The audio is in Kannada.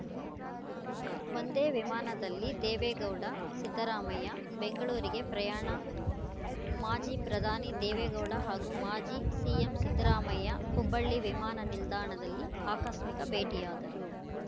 ಒಂದೇ ವಿಮಾನದಲ್ಲಿ ದೇವೇಗೌಡ ಸಿದ್ದರಾಮಯ್ಯ ಬೆಂಗಳೂರಿಗೆ ಪ್ರಯಾಣ ಮಾಜಿ ಪ್ರಧಾನಿ ದೇವೇಗೌಡ ಹಾಗೂ ಮಾಜಿ ಸಿಎಂ ಸಿದ್ದರಾಮಯ್ಯ ಹುಬ್ಬಳ್ಳಿ ವಿಮಾನ ನಿಲ್ದಾಣದಲಿ ಆಕಸ್ಮಿಕ ಭೇಟಿಯಾದರು